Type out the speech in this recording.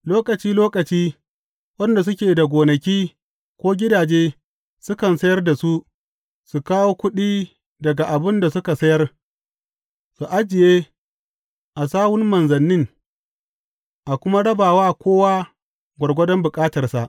Lokaci lokaci waɗanda suke da gonaki ko gidaje sukan sayar da su, su kawo kuɗi daga abin da suka sayar, su ajiye a sawun manzannin, a kuma raba wa kowa gwargwadon bukatarsa.